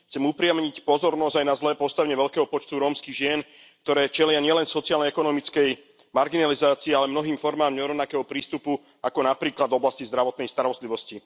Chcem upriamiť pozornosť aj na zlé postavenie veľkého počtu rómskych žien, ktoré čelia nielen sociálno ekonomickej marginalizácii, ale mnohým formám nerovnakého prístupu ako napríklad v oblasti zdravotnej starostlivosti.